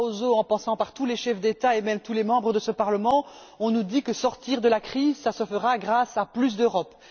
Barroso, en passant par tous les chefs d'États et même tous les membres de ce Parlement, on nous dit que sortir de la crise se fera grâce à plus d'Europe.